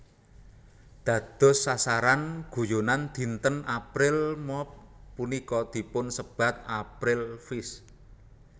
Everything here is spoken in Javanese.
Dados sasaran guyonan dinten April Mop punika dipunsebat April Fish